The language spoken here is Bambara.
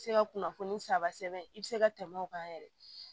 Se ka kunnafoni saba sɛbɛn i bɛ se ka tɛmɛ o kan yɛrɛ